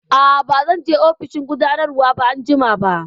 Aa, ba zan je ofishin gudanarwa anjima ba